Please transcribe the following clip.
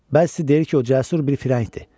Bəzi deyir ki, o cəsur bir firəngdir.